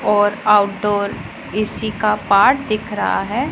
और आउटडोर इसी का पार्ट दिख रहा है।